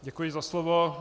Děkuji za slovo.